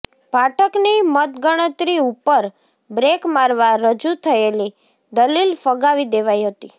પાઠકની મતગણતરી ઉપર બ્રેક મારવા રજૂ થયેલી દલીલ ફગાવી દેવાઇ હતી